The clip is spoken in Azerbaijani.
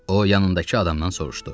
O yanındakı adamdan soruşdu: